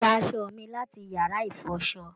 Gbà aṣọ mí láti yára ìfọ́sọ̀!